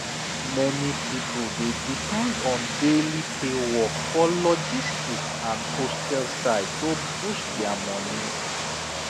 many people dey depend on daily pay work for logistic and hostel side to boost their money